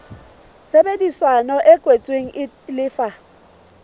tshebedisano e kwetsweng e lefa